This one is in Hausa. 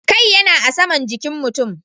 Kai yana a saman jikin mutum.